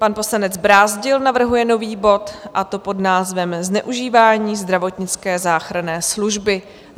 Pan poslanec Brázdil navrhuje nový bod, a to pod názvem Zneužívání Zdravotnické záchranné služby.